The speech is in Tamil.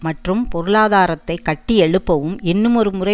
மற்றும் பொருளாதாரத்தை கட்டியெழுப்பவும் இன்னுமொரு முறை